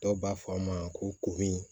Dɔw b'a fɔ a ma ko